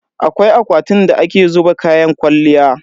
Akwai akwatin da ake zuba kayan kwalliya.